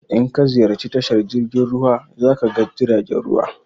In ka ziyarci tashar jirgin ruwa za ka ga jiragen ruwa.